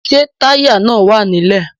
Ṣé táyà náà wà nílẹ̀?